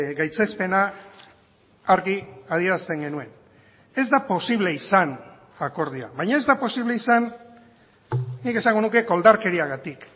gaitzespena argi adierazten genuen ez da posible izan akordioa baina ez da posible izan nik esango nuke koldarkeriagatik